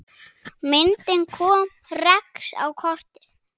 Myndin kom Rex á kortið.